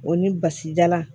O ni basijalan